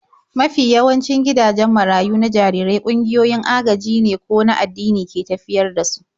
Mafi yawancin gidajen marayu na jarirai ƙungiyoyin agajine ko an addini ke tafiyar da su.